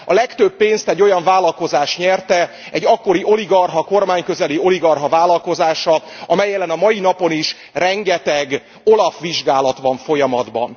A legtöbb pénzt egy olyan vállalkozás nyerte, egy akkori oligarcha, kormányközeli oligarcha vállalkozása, amely ellen a mai napon is rengeteg OLAF vizsgálat van folyamatban.